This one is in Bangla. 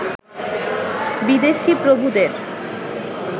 বিদেশি প্রভুদের